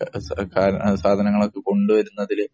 സാധനങ്ങള്‍ ഒക്കെ കൊണ്ട് വരുന്നതില്‍